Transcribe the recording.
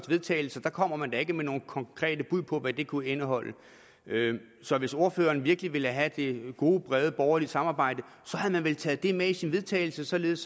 vedtagelse kommer man da ikke med nogle konkrete bud på hvad det kunne indeholde så hvis ordføreren virkelig ville have det gode brede borgerlige samarbejde havde man vel taget det med i til vedtagelse således